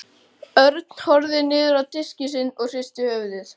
Örn horfði niður á diskinn sinn og hristi höfuðið.